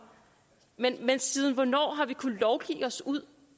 men siden hvornår har vi kunnet lovgive os ud